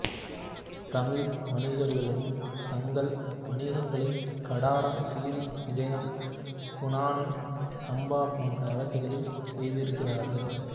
தமிழ் வணிகர்களும் தங்கள் வணிகங்களை கடாரம் சிறீ விஜயம் ஃபூனான் சம்பா போன்ற அரசுகளில் செய்திருக்கிறார்கள்